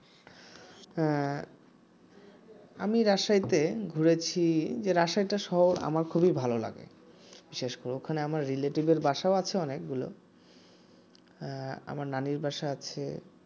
আহ আমি রাজশাহীতে ঘুরেছি আমার রাজশাহী শহর খুবই ভালো লাগে ওখানে আমার রিলেটিভ আছে অনেকগুলো আহ আমার নানির বাসা আছে